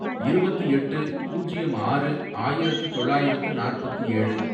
இருபத்து எட்டு, பூஜ்யம் ஆறு, ஆயிரத்து தொள்ளாயிரத்து நாற்பத்து ஏழு